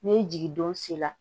Ni jigindon sera